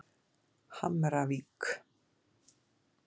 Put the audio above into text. Hamravík